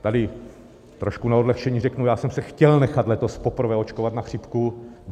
Tady trošku na odlehčení řeknu, já jsem se chtěl nechat letos poprvé očkovat na chřipku.